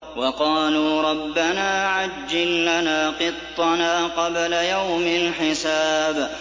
وَقَالُوا رَبَّنَا عَجِّل لَّنَا قِطَّنَا قَبْلَ يَوْمِ الْحِسَابِ